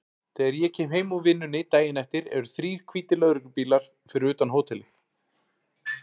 Þegar ég kem heim úr vinnunni daginn eftir eru þrír hvítir lögreglubílar fyrir utan hótelið.